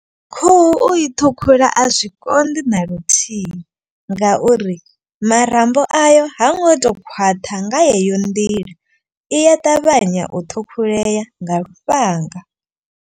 Khuhu u i ṱhukhula a zwi konḓi na luthihi ngauri marambo ayo ha ngo to khwaṱha nga yeyo nḓila. Iya ṱavhanya u ṱhukhulea nga lufhanga.